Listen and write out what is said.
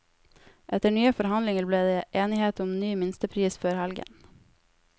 Etter nye forhandlinger ble det enighet om ny minstepris før helgen.